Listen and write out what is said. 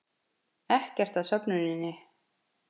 Ekkert að söfnuninni